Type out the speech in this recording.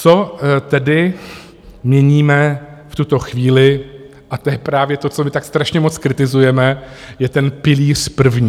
Co tedy měníme v tuto chvíli - a to je právě to, co my tak strašně moc kritizujeme - je ten pilíř první.